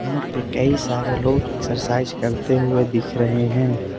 यहां पे कई सारे लोग एक्सरसाइज करते हुए दिख रहे हैं।